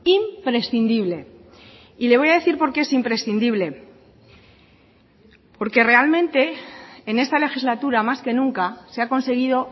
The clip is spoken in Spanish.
imprescindible y le voy a decir por qué es imprescindible porque realmente en esta legislatura más que nunca se ha conseguido